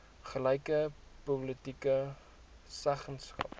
gelyke politieke seggenskap